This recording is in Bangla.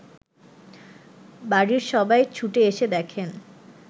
বাড়ির সবাই ছুটে এসে দেখেন